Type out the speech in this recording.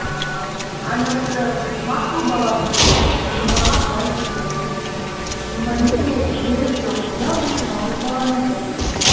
анасы мақұл балам деді де мейманға былай деп жайын айтты мейманеке ерім жоқ мынау менің жалғыз балам еді